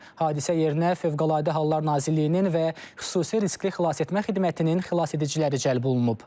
Hadisə yerinə Fövqəladə Hallar Nazirliyinin və xüsusi riskli xilasetmə xidmətinin xilasediciləri cəlb olunub.